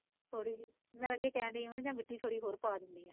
ਥੋੜੀ ਜਹੀ, ਮੈਂ ਤਾਂ ਅੱਗੇ ਕਹਿਣ ਡਈ ਮੈਂ ਕਿਹਾ ਜਾਂ ਮਿੱਟੀ ਥੋੜੀ ਜਹੀ ਹੋਰ ਪਾ ਦਿੰਦੇ ਆ